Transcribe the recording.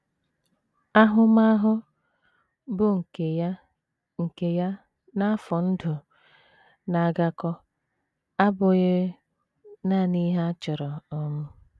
Ahụmahụ, bụ́ nke ya nke ya na afọ ndụ na - agakọ, abụghị nanị ihe a chọrọ um.